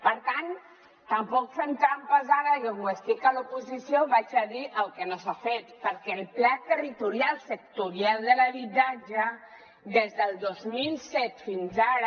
per tant tampoc fem trampes ara i com que estic a l’oposició diré el que no s’ha fet perquè el pla territorial sectorial de l’habitatge des del dos mil set fins ara